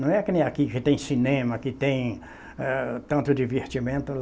Não é que nem aqui, que tem cinema, que tem, ah, tanto divertimento.